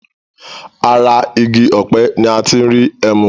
Ara igi ọ̀pẹ ni a ti ń rí ẹmu.